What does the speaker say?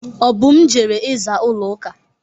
Obum jere ịza ụlọ uka.